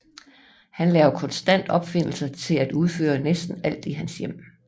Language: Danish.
Han laver konstant opfindelser til at udføre næsten alt i hans hjem